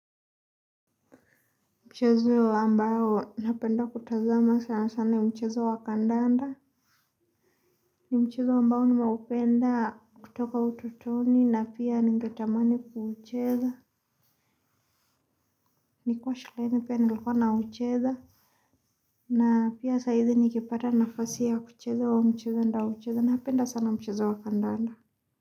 Mchezo ambao napenda kutazama sana sana mchezo wa kandanda. Ni mchezo ambao nina upenda kutoka utotoni na pia ningetamani kuucheza. Nikuwa shuleni pia nilikuwa na ucheza na pia saizi nikipata nafasi ya kucheza huo mchezo nita ucheza. Napenda sana mchezo wa kandanda.